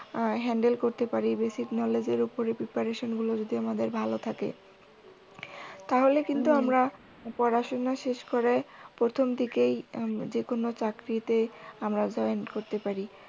উহ handle করতে পারি। basic knowledge এর উপর যদি preparation গুলি ভালো থাকে তাহলে কিন্তু আমরা পড়াশুনা শেষ করে প্রথম দিকেই উম যে কোনও চাকরিতে আমরা join করতে পারি।